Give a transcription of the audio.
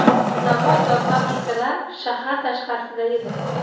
Zavod va fabrikalar shahar tashqarisida edi.